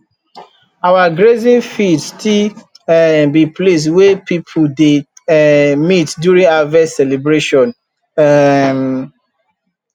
our grazing field still um be place wey people dey um meet during harvest celebration um